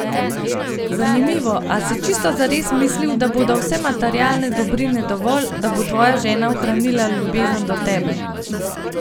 Zanimivo, a si čisto zares mislil, da bodo vse materialne dobrine dovolj, da bo tvoja žena ohranila ljubezen do tebe?